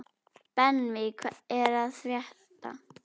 Benvý, hvað er að frétta?